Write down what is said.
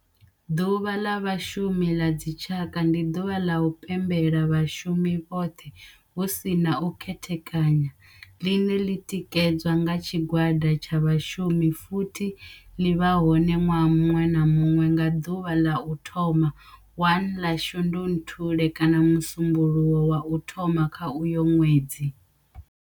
Ḓuvha ḽa vhashumi la dzi tshaka, ndi duvha la u pembela vhashumi vhothe hu si na u khethekanya line li tikedzwa nga tshigwada tsha vhashumi futhi ḽi vha hone nwaha munwe na munwe nga duvha ḽa u thoma 1 ḽa Shundunthule kana musumbulowo wa u thoma kha uyo nwedzi.